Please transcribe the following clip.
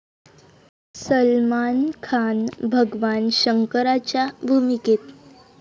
सलमान खान भगवान शंकराच्या भूमिकेत?